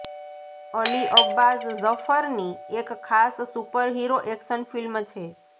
અલી અબ્બાસ ઝફરની એક ખાસ સુપરહીરો એક્શન ફિલ્મ છે